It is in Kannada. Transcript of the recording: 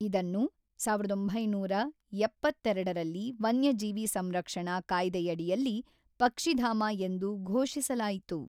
ಇದನ್ನು ಸಾವಿರದ ಒಂಬೈನೂರ ಎಪ್ಪತ್ತೆರಡರಲ್ಲಿ ವನ್ಯಜೀವಿ ಸಂರಕ್ಷಣಾ ಕಾಯ್ದೆಯಡಿಯಲ್ಲಿ ಪಕ್ಷಿಧಾಮ ಎಂದು ಘೋಷಿಸಲಾಯಿತು.